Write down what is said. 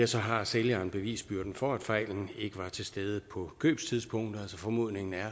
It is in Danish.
så har sælgeren bevisbyrden for at fejlen ikke var til stede på købstidspunktet altså formodningen er